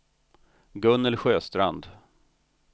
Gunnel Sjöstrand